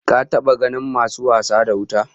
Ka taba ganin masu wasa da wuta?